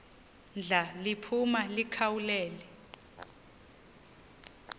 ndla liphuma likhawulele